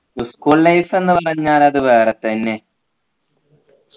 school life ന്നു പറഞ്ഞാൽ അതെ വേറെത്തന്നെ